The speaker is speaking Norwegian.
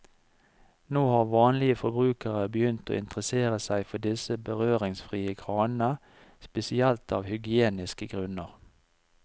Nå har vanlige forbrukere begynt å interessere seg for disse berøringsfrie kranene, spesielt av hygieniske grunner.